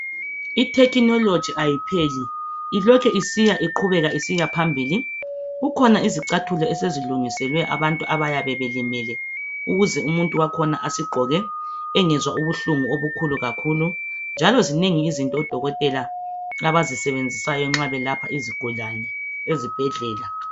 ITecnology ayipheli ilokhu iqhubeka isiyaphambili kukhona izicathulo esezilungiselwe abantu abayabe belimele ukuze umuntu wakhona asigqoke engezwa ubuhlungu obukhulu kakhulu njalo zikhona izinto odokotela abazisebenzisayo nxa belapha izigulani ezibhedlela